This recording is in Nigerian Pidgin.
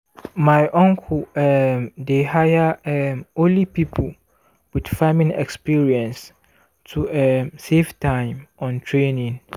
my uncle um dey hire um only people with farming experience to um save time on training.